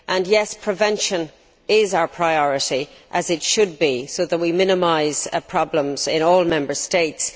Yes, prevention is our priority as it should be in order to minimise problems in all Member States.